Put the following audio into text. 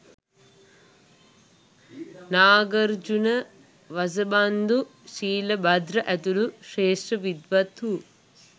Nagarjuna, Vasubandhu, Shilabhadra ඇතුළු ශ්‍රේෂ්ඨ විද්වත්හු